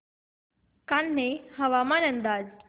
कान्हे हवामान अंदाज